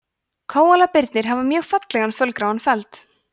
kóalabirnir hafa mjög fallegan fölgráan feld